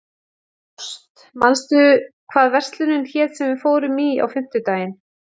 Ást, manstu hvað verslunin hét sem við fórum í á fimmtudaginn?